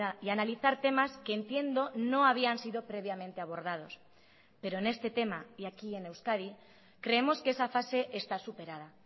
y analizar temas que entiendo no habían sido previamente abordados pero en este tema y aquí en euskadi creemos que esa fase está superada